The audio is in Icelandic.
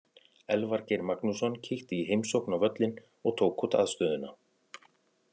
Elvar Geir Magnússon kíkti í heimsókn á völlinn og tók út aðstöðuna.